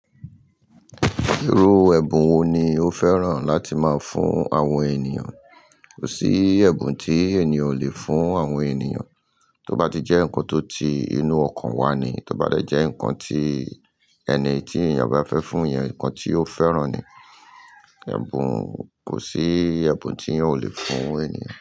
Irú ẹ̀bùn wo ni o fẹ́ràn láti máa fún àwọn ènìyàn? Kò sí ẹ̀bùn tí ènìyàn ò lè fún àwọn ènìyàn, tó bá ti jẹ́ nǹkan tó ti inú ọkàn wà ni, tó bá dẹ jẹ́ nǹkan tí ẹni tí ènìyàn bá fẹ́ fún yẹn nǹkan tí ó fẹ́ràn ni. Ẹ̀bùn, kò sí ẹ̀bùn tí ènìyàn ò lè fún ènìyàn.